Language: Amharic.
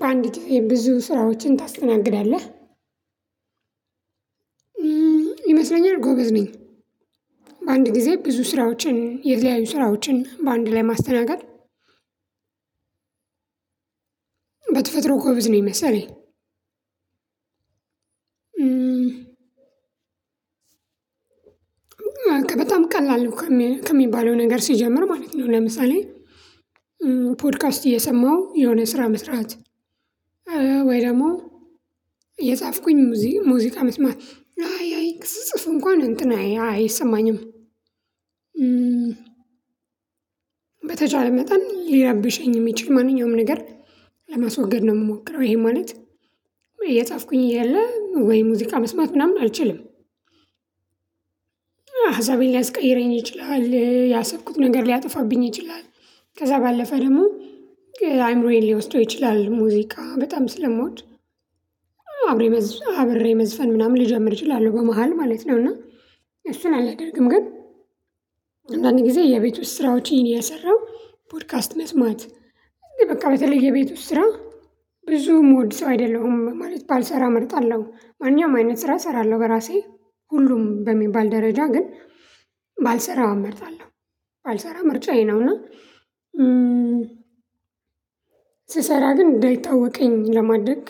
በአንድ ግዝየ ብዙ ስራዎችን ታስተናግዳለህ ይመስለኛል ጎበዝ ነኝ። በአንድ ጊዜ ብዙ ስራዎችን የተለያዩ ስራዎችን በአንድ ላይ ማስተናገድ በተፈጥሮ ጎብዝ ነኝ የመሰለኝ። በጣም ቀላል ነው ከሚባለው ነገር ሲጀምር ማለት ነው። ለምሳሌ ፖድካስት እየሰማሁ የሆነ ስራ መስራት። ወይ ደግሞ እጻፍኩኝ ሙዚቃ መስማት አይ አይ ስጽፍ እንኳን እንትን አይ አይሰማኝም። በተቻለ መጠን ሊራብሸኝ የሚችል ማንኛውም ነገር ለማስወገድ ነው ምሞክረው። ይሄ ማለት የጻፍኩኝ እያለ ወይ ሙዚቃ መስማት ምናምን አልችልም። ሃሳቤን ሊያስቀይረኝ ይችላል ያሰብኩት ነገር ሊያጠፋብኝ ይችላል ከዛ ባለፈ ደግሞ አይምሮዬን ሊወስደው ይችላል ሙዚቃ በጣም ስለሞወድ። አብሬ አብሬ መዝፈን ምናምን ልጀምር እችላለሁ በመሃል ማለት ነው እና እሱን አላደርግም። ግን አንዳንድ ጊዜ የቤት ውስጥ ስራዎችን እየሰራው ፖድካስት መስማት እንዲ በቃ በተለይ የቤት ውስጥ ስራ ብዙ ምወድ ሰው አይደለሁም። ማለት ባልሰራ እመርጣለሁ ማንኛውም አይነት ስራ እሰራለሁ። በራሴ ሁሉም በሚባል ደረጃ ግን ባልሰራው እመርጣለሁ። ባልሰራ ምርጫዬ ነውና። ስሰራ ግን እንዳይታወቀኝ ለማድረግ